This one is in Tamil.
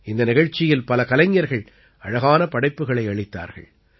இந்த நிகழ்ச்சியில் பல கலைஞர்கள் அழகான படைப்புக்களை அளித்தார்கள்